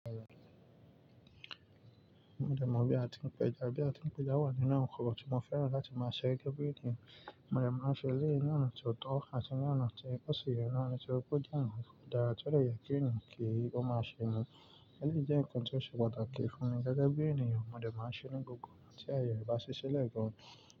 Mo dẹ̀ mọ̀ bí a ti ń pẹja, bí a ti ń pẹja wà nínú nkan tí mo fẹ́ràn láti máa ṣe gẹ́gẹ́ bí ènìyàn. Mo dẹ̀ máa ń ṣe eléyi ni oná tió tọ́ àti ni oná tí ò ṣi yẹ naa, nitoripe o jẹ́ ǹkan tó dára tó dè yẹ kí eńiyan kí ó máa ṣe ni. Eléyi jẹ́ ǹkan tó ṣe pàtàkì fún mi gẹ́gẹ́ bí ènìyàn, mo dẹ̀ máa ń ṣe ni gbogbo ìgbà tí ààyẹ e bá ṣí ṣile gan.